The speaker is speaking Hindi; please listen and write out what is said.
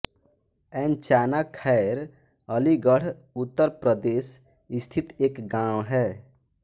ऐंचाना खैर अलीगढ़ उत्तर प्रदेश स्थित एक गाँव है